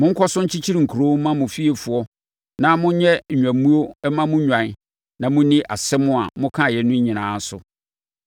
Monkɔ so nkyekyere nkuro mma mo fiefoɔ na monyɛ nnwammuo mma mo nnwan na monni asɛm a mokaeɛ no nyinaa so.”